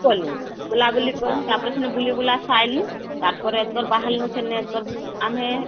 କଲୁ ବୁଲା ବୁଲି କନୁ , ତାପରେ ସେନୁ ବୁଲି ବୁଲା ସାଇଁନୁ ତାର ପରେ ତ ବାହାରଲୁ ସେନେକର .... ଆମେ